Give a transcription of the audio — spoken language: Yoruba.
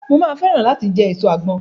Mo máa fẹ́ràn láti jẹ èso àgbọn.